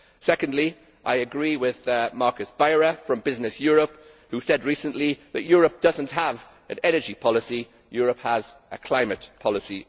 Secondly, I agree with Markus Beyer from Business Europe, who said recently that Europe does not have an energy policy it has only a climate policy.